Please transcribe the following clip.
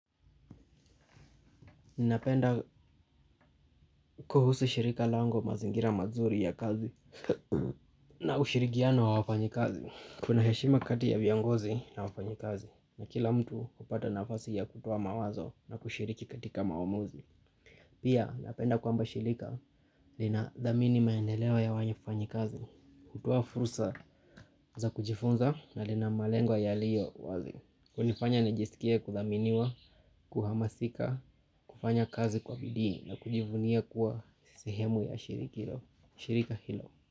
Ninapenda kuhusu shirika langu mazingira mazuri ya kazi. Na ushirikiano wa wafanyi kazi kuna heshima kati ya viongozi na wafanyi kazi. Na kila mtu hupata nafasi ya kutuo mawazo na kushiriki katika maamuzi. Pia napenda kwamba shirika lina dhamini maendeleo ya wafanyi kazi. Kutuo fursa za kujifunza na lina malengo ya liyo wazi hunifanya nijiskie kuthaminiwa, kuhamasika, kufanya kazi kwa bidii. Nakujivunia kuwa sehemu ya shirika hilo.